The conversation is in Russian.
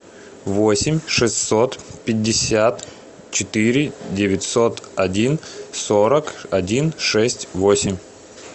восемь шестьсот пятьдесят четыре девятьсот один сорок один шесть восемь